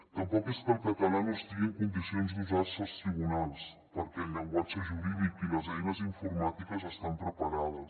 tampoc és que el català no estigui en condicions d’usar se als tribunals perquè el llenguatge jurídic i les eines informàtiques estan preparades